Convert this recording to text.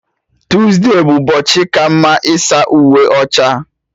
Tuesde bụ ụbọchị ka mma ịsa uwe ọcha